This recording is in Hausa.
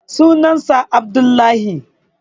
sunan sa Abdullahi